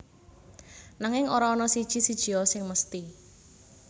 Nanging ora ana siji sijia sing mesthi